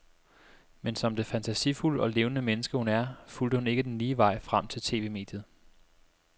Men som det fantasifulde og levende menneske hun er, fulgte hun ikke den lige vej frem til TVmediet.